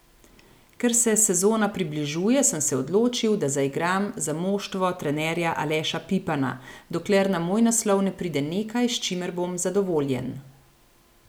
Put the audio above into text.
Ker se sezona približuje, sem se odločil, da zaigram za moštvo trenerja Aleša Pipana, dokler na moj naslov ne pride nekaj, s čimer bom zadovoljen.